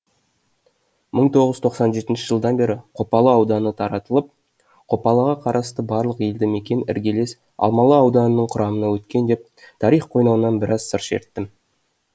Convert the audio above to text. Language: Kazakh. мың тоғыз жүз тоқсан жетінші жылдан бері қопалы ауданы таратылып қопалыға қарасты барлық елді мекен іргелес алмалы ауданының құрамына өткен деп тарих қойнауынан біраз сыр шерттім